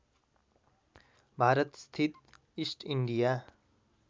भारतस्थित East India